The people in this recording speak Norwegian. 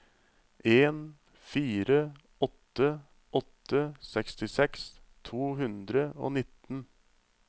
en fire åtte åtte sekstiseks to hundre og nitten